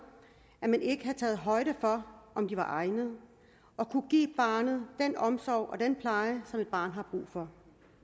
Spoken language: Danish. at man ikke havde taget højde for om de var egnede og kunne give barnet den omsorg og den pleje som et barn har brug for